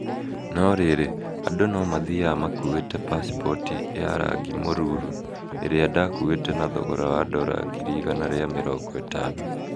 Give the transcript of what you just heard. No rĩrĩ, andũ no mathiaga makuite pacipoti ya rangi mũruru ĩrĩa ndakuite na thogora wa ndora ngiri igana rĩa mĩrongo itano?